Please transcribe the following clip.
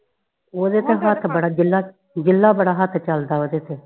ਓਦੇ ਤੇ ਹੱਥ ਬੜਾ ਜਿਲਾ ਜਿਲਾ ਬੜਾ ਹੱਥ ਚਲਦਾ ਵਾ ਓਦੇ ਤੇ